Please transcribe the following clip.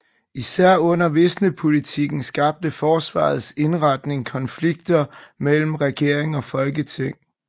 Især under visnepolitikken skabte forsvarets indretning konflikter mellem regering og folketing